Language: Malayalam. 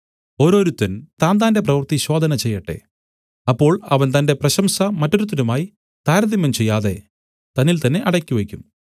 ഓരോരുത്തൻ താന്താന്റെ പ്രവൃത്തി ശോധന ചെയ്യട്ടെ അപ്പോൾ അവൻ തന്റെ പ്രശംസ മറ്റൊരുത്തനുമായി താരതമ്യം ചെയ്യാതെ തന്നിൽ തന്നെ അടക്കി വെയ്ക്കും